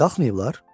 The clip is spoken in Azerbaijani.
Qalxmayıblar?